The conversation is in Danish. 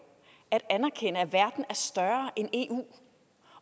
at anerkende at verden er større end eu